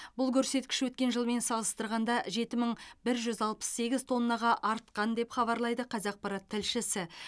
бұл көрсеткіш өткен жылмен салыстырғанда жеті мың бір жүз алпыс сегіз тоннаға артқан деп хабарлайды қазақпарат тілшісі